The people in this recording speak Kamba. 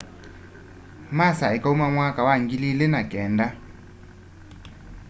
masa ikaũma mwaka wa 2009